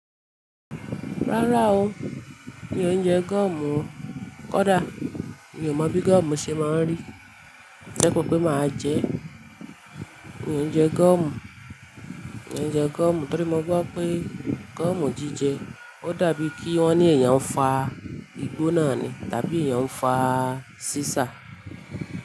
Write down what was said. Rárá o, mi ò ń jẹ gúọ̀mù. Kódà mi ò mọ̀ bí gúọ̀mù ṣe máa ń rí. Ẹ̀kọ́ pé máa jẹ, mi ò ń jẹ gúọ̀mù, mi ò ń jẹ gúọ̀mù torí mo gbọ́ pé gúọ̀mù jíjẹ ó dàbí kí wọ́n ní ẹ̀yàn ń fa igbó náà ni, tàbí ẹ̀yàn ń fa sísà.